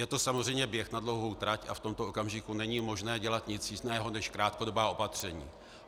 Je to samozřejmě běh na dlouhou trať a v tomto okamžiku není možné dělat nic jiného než krátkodobá opatření.